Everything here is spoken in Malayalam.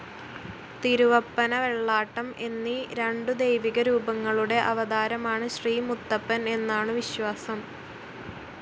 തിരുവപ്പന, വെള്ളാട്ടം എന്നീ രണ്ടു ദൈവിക രൂപങ്ങളുടെ അവതാരമാണ് ശ്രീ മുത്തപ്പൻ എന്നാണു വിശ്വാസം.